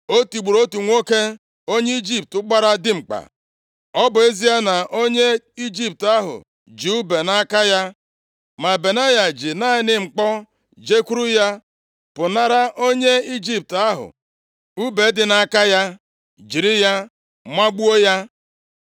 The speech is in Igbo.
O tigburu otu nwoke onye Ijipt, gbara dimkpa. Ọ bụ ezie na onye Ijipt ahụ ji ùbe nʼaka ya, ma Benaya ji naanị mkpọ jekwuru ya. Pụnara onye Ijipt ahụ ùbe dị nʼaka ya. Jiri ya magbuo ya